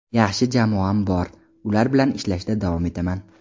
Yaxshi jamoam bor, ular bilan ishlashda davom etaman.